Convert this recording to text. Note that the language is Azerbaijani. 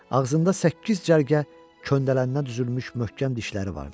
Ağzında səkkiz cərgə köndələninə düzülmüş möhkəm dişləri vardı.